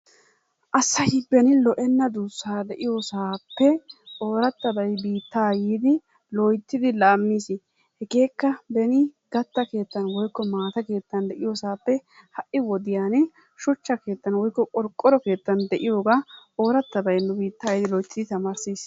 Asay beni lo'enna duussaa de'iyosaappe oorattabay biittaa yiidi loyttidi laammiisi. Hegeekka beni gatta keettan woykko maata keettan de'iyosaappe ha"i wodiyani shuchchaa keettan woykko qorqqoro keettan de'iyogaa oorattabay nu biittaa yiidi loyttidi tamaarssiisi.